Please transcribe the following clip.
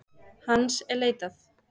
Hans er leitað.